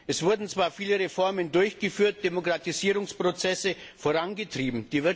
Es wurden zwar viele Reformen durchgeführt und Demokratisierungsprozesse vorangetrieben